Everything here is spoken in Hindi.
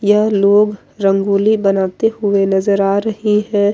यह लोग रंगोली बनाते हुए नजर आ रहें हैं।